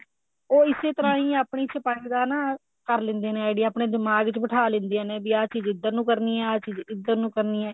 ਉਹ ਇਸੇ ਤਰ੍ਹਾਂ ਹੀ ਆਪਣੀ ਛਪਾਈ ਦਾ ਨਾ ਕਰ ਲਿੰਦੇ ਨੇ idea ਆਪਨੇ ਦਿਮਾਗ ਚ ਬਿਠਾ ਲਿੰਦੀਆਂ ਨੇ ਵੀ ਆਹ ਚੀਜ ਇੱਧਰ ਨੂੰ ਕਰਨੀ ਹੈ ਆਹ ਚੀਜ ਇੱਧਰ ਨੂੰ ਕਰਨੀ ਐ